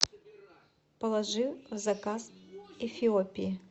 положи в заказ эфиопии